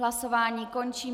Hlasování končím.